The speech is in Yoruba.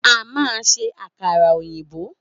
A man se àkàrà òyìnbó.